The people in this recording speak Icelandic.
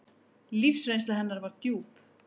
Lífsreynsla hennar var djúp.